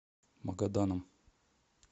магаданом